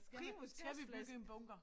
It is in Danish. Primus gasflaske